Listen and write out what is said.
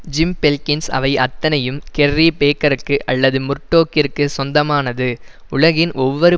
gym Belkins அவை அத்தனையும் Kerry பேக்கருக்கு அல்லது முர்டோக்கிற்கு சொந்தமானது உலகின் ஒவ்வொரு